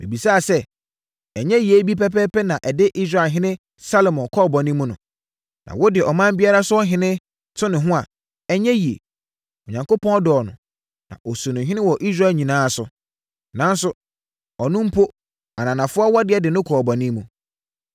Mebisaa sɛ, “Ɛnyɛ yei bi pɛpɛɛpɛ na ɛde Israelhene Salomo kɔɔ bɔne mu no?” Na wode ɔman biara so ɔhene to ne ho a, ɛnyɛ yie. Onyankopɔn dɔɔ no, na ɔsii no ɔhene wɔ Israel nyinaa so. Nanso, ɔno mpo ananafoɔ awadeɛ de no kɔɔ bɔne mu.